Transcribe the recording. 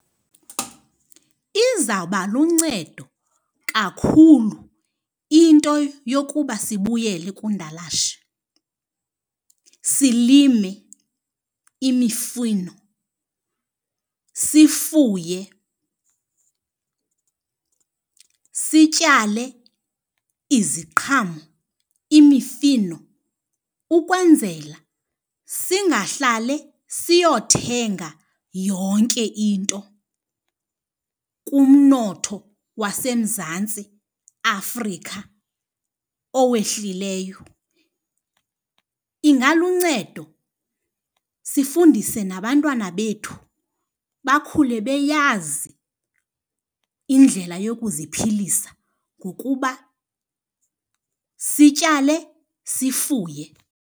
Izawuba luncedo kakhulu into yokuba sibuyele kundalashe. Silime imifino, sifuye, sityale iziqhamo, imifino ukwenzela singahlale siyothenga yonke into kumnotho waseMzantsi Afrika owehlileyo. Ingaluncedo sifundise nabantwana bethu bakhule beyazi indlela yokuziphilisa ngokuba sityale, sifuye.